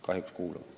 Kahjuks kuuluvad.